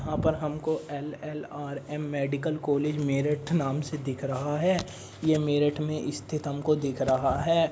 यहाँ पर हमको एलएलआरएम मेडिकल कॉलेज मेरठ नाम से दिख रहा है। यह मेरठ स्थित हमको दिख रहा है।